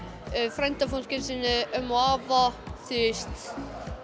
frændfólki sínu ömmu og afa þú veist